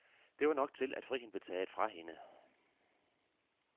Det var nok til, at friheden blev taget fra hende.